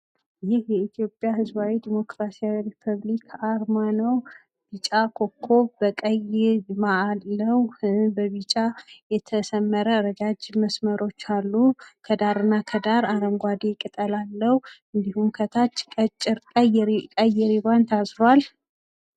ይህ የኢትዮጵያ ሕዝባዊ ዴሞክራሲያዊ ሪፐብሊክ አርማ ነው ፤ ቢጫ ኮኮብ በቀይ አለዉ፣ በቢጫ የተሰመረ ረጃጅም መስመሮች አሉ እንዲሁም ከታች ቀይ ሪቫን ታስሩዋል።